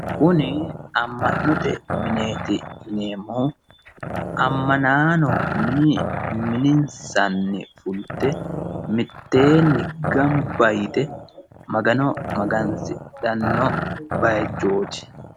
kuni amma'note mineeti amma'naano mininsanni fulte mitteenni gamba yite magano magansidhanno bayiichooti.